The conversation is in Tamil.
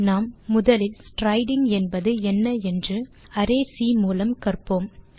நாம் முதலில் ஸ்ட்ரைடிங் என்பது என்ன என்று அரே சி மூலம் கற்போம்